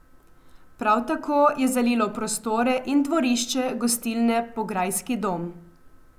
Prav tako je zalilo prostore in dvorišče gostilne Pograjski dom.